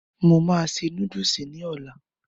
Mo máa se núdùsì ní ọlá